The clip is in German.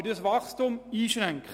wir schränken das Wachstum ein.